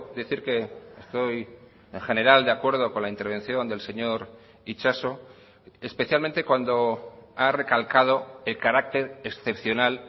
decir que estoy en general de acuerdo con la intervención del señor itxaso especialmente cuando ha recalcado el carácter excepcional